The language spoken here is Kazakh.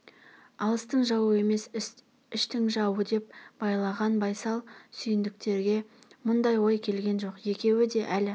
алыстың жауы емес іштің жауы деп байлаған байсал сүйіндіктерге мұндай ой келген жоқ екеуі де әлі